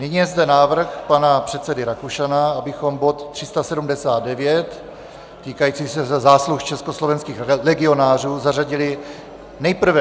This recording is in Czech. Nyní je zde návrh pana předsedy Rakušana, abychom bod 379 týkající se zásluh československých legionářů zařadili nejprve...